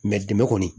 dɛmɛ kɔni